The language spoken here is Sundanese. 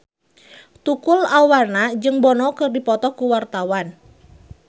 Tukul Arwana jeung Bono keur dipoto ku wartawan